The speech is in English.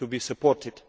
supported.